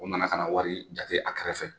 U nana ka na wari jate a kɛrɛfɛ.